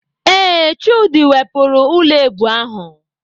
Ee, Chude wepụrụ ụlọ èbù ahụ.